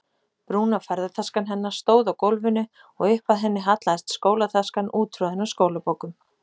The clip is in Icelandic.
Brúna ferðataskan hennar stóð á gólfinu og upp að henni hallaðist skólataskan úttroðin af skólabókum.